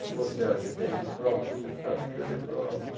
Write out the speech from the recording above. Se você acha que é isso, prova que você sabe escrever prosa.